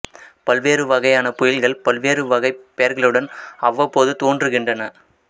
பல்வேறு வகையான புயல்கள் பல்வேறு வகைப் பெயர்களுடன் அவ்வப்போது தோன்றுகின்றன